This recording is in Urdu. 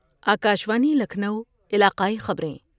آکاشوانی لکھنؤ علاقائی خبر یں